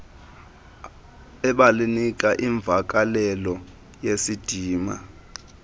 ebanika imvakalelo yesidima